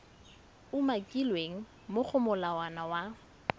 umakilweng mo go molawana wa